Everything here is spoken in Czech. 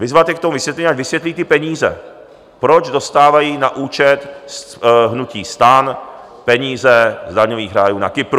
Vyzvat je k tomu vysvětlení, ať vysvětlí ty peníze, proč dostávají na účet - hnutí STAN - peníze z daňových rájů na Kypru.